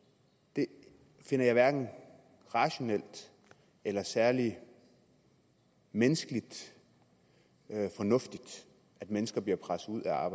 det finder jeg hverken rationelt eller særlig menneskeligt fornuftigt at mennesker bliver presset ud af